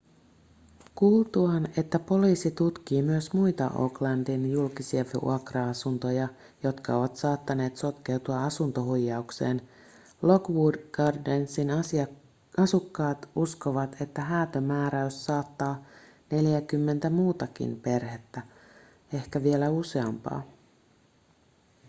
kuultuaan että poliisi tutkii myös muita oaklandin julkisia vuokra-asuntoja jotka ovat saattaneet sotkeutua asuntohuijaukseen lockwood gardensin asukkaat uskovat että häätömääräys saattaa neljääkymmentä muutakin perhettä ehkä vielä useampaa